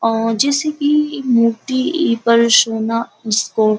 अ जैसे कि मूर्ति पर सोना इसको --